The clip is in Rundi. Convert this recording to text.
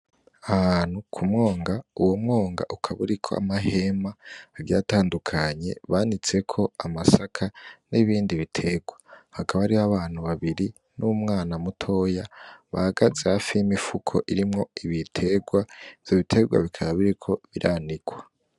Ahantu ku mwonga uwo mwonga ukaburiko amahema avyatandukanye banitseko amasaka n'ibindi biterwa hakabo ari ho abantu babiri n'umwana mutoya bagaze hafi imifuko irimwo ibiterwa vyo biterwa bikaba biriko biranikwa.